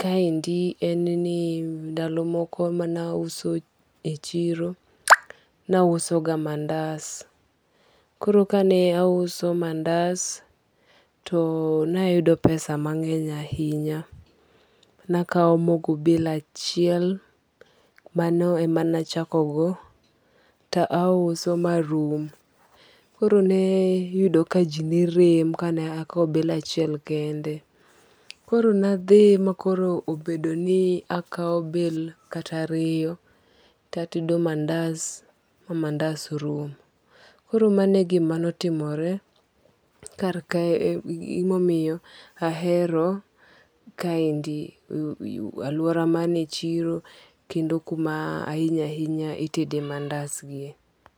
kaendi en ni ndalo moko mane auso e chiro, ne auso ga mandas. Koro ka ne auso mandas, to ne ayudo pesa mangény ahinya. Ne akao mogo bale achiel, mano ema ne achako go, to auso ma rum. Koro ne iyudo ka ji ne rem ka ne akawo bale achiel kende. Koro ne adhi ma koro obedo ni akawo bale kata ariyo, tatedo mandas ma mandas rum. Koro mano e gima ne otimore kar e gima omiyo ahero, kaendi alwora mane chiro, kendo kuma ahinya ahinya, itede mandas gi e.